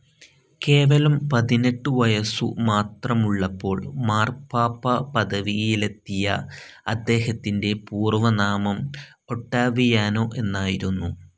കേവലം പതിനെട്ടു വയസ്സു മാത്രമുള്ളപ്പോൾ മാർപ്പാപ്പ പദവിയിലെത്തിയ അദ്ദേഹത്തിന്റെ പൂർവനാമം ഒട്ടാവിയാനോ എന്നായിരുന്നു.